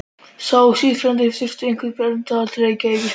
Sá síðarnefndi þurfti einhverra erinda til Reykjavíkur.